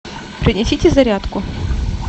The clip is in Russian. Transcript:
принесите зарядку